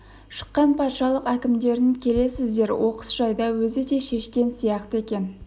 шыққан патшалық әкімдерін келесіздер оқыс жайда өзі де шешкен сияқты екен